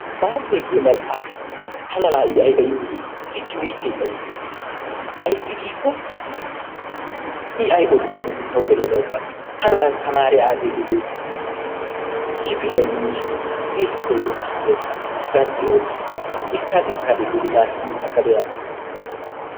matisiyaa giyo maxxaafay tana laa i ayiba iitii he timirtte tana iites. ayissi giikko i ayi odiyakkokka tawu gelenna ubba tana asttamaaree aage geliyodee kifiliyan diishin xiskkoy ekkinnekka gaphphi oottiyagin xiskkaa xiskkaa denddiyodee naati kiyin aggada yaaggaas.